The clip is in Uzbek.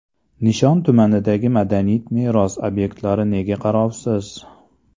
Nishon tumanidagi madaniy meros obyektlari nega qarovsiz?.